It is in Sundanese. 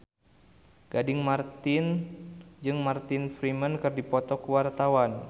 Gading Marten jeung Martin Freeman keur dipoto ku wartawan